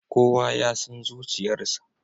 Kowa ya san zuciyarsa.